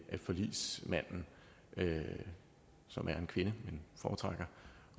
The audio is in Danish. forligsmanden som er en kvinde men foretrækker